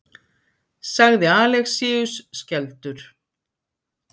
sagði Alexíus skelfdur.